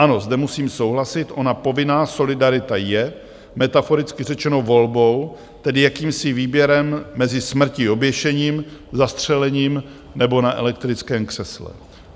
Ano, zde musím souhlasit, ona povinná solidarita je, metaforicky řečeno, volbou, tedy jakýmsi výběrem mezi smrtí oběšením, zastřelením nebo na elektrickém křesle.